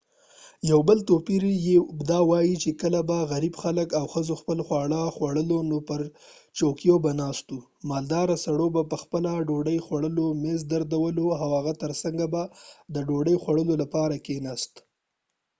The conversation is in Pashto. یو بل توپير یې یې داوو چې کله به غریب خلک او ښځو خپل خواړه خوړلو نو پر چوکیو به ناست وو مالداره سړيو به پخپلو د ډوډۍ خوړلو میز درلودل او د هغې تر څنګ به د ډوډۍ خوړلو لپاره کیناست